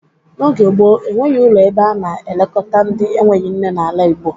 N'oge gboo, e nweghi ụlọ ebe a na-elekọta ndị enweghi nne n'ala Igbo.